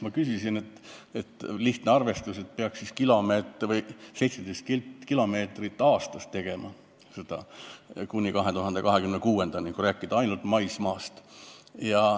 Ma küsisin, et lihtne arvestus, siis peaks seda aastas tegema 17 kilomeetrit kuni 2026. aastani, kui rääkida ainult maismaast.